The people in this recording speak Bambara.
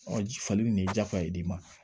ji falen ni nin ye jakoya ye bi ma